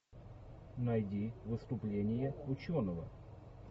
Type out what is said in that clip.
найди выступление ученого